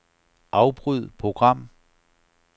Afbryd program.